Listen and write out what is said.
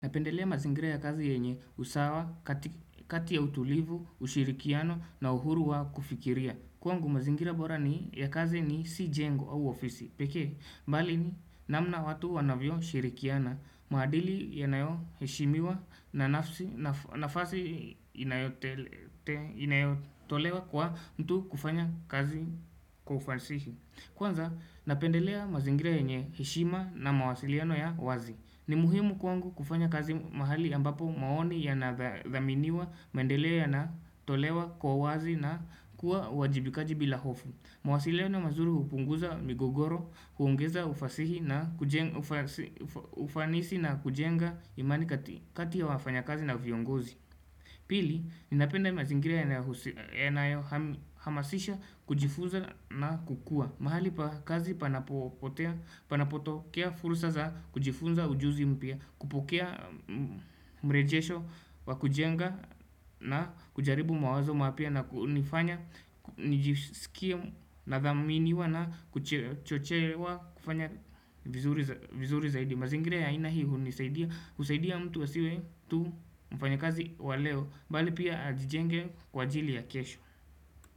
Napendelea mazingira ya kazi yenye usawa, kati ya utulivu, ushirikiano na uhuru wa kufikiria. Kwangu mazingira bora ni ya kazi ni si jengo au ofisi. Pekee, mbali ni namna watu wanavyo shirikiana, maadili yanayo heshimiwa na nafasi inayotolewa kwa mtu kufanya kazi kwa ufasihi. Kwanza, napendelea mazingira yenye heshima na mawasiliano ya wazi. Ni muhimu kwangu kufanya kazi mahali ambapo maoni ya nadhaminiwa maendeleo yana tolewa kwa uwazi na kuwa wajibikaji bila hofu. Mawasiliano mazuri upunguza migogoro, huongeza ufanisi na kujenga imani kati ya wafanya kazi na viongozi. Pili, ninapenda mazingiria yanayo hamasisha kujifunza na kukua mahali pa kazi panapotokea fursa za kujifunza ujuzi mpya kupokea mrejesho wa kujenga na kujaribu mawazo maapya na kunifanya nijisikie nadhaminiwa na kuchochewa kufanya vizuri zaidi mazingira ya aina hii u ni saidia usaidia mtu asiwe tu mfanya kazi waleo bali pia ajijenge kwa ajili ya kesho.